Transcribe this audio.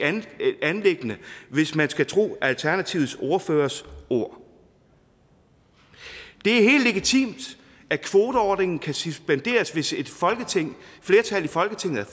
anliggende hvis man skal tro alternativets ordførers ord det er helt legitimt at kvoteordningen kan suspenderes hvis et flertal i folketinget er